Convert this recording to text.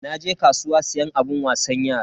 Naje kasuwa siyan abun wasan yara.